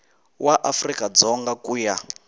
wa afrika dzonga ku ya